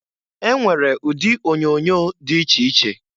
E nwere ụdị onyoonyo dị iche iche.